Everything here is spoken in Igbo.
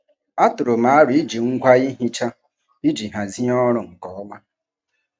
Atụrụ m aro iji ngwa ihicha iji hazie ọrụ nke ọma.